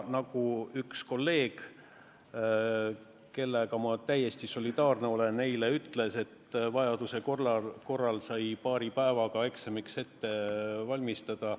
Nagu üks kolleeg, kellega ma täiesti solidaarne olen, ütles eile, et vajaduse korral sai paari päevaga eksamiks ette valmistada.